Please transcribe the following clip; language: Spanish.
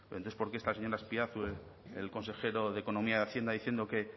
entonces por qué está el señor azpiazu el consejero de economía y hacienda diciendo que